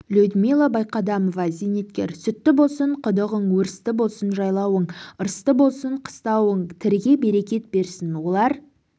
людмила байқадамова зейнеткер сүтті болсын құдығың өрісті болсын жайлауың ырысты болсын қыстауың тіріге берекет берсін олар